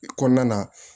Kɔnɔna na